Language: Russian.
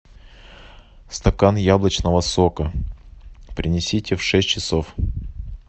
стакан яблочного сока принесите в шесть часов